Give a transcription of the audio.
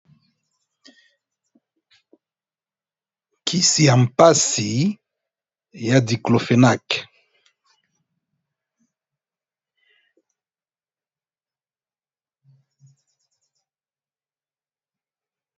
Kisi ya mpasi ya diklopenaq